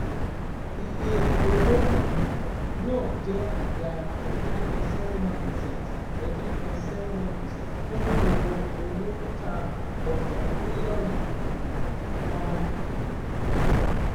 Iye owó um náà jẹ́ ìdá thirty three point seven one percent thirty three point seven one percent fún gbogbo owó tá ọjà trílíọ̀nù um kan. um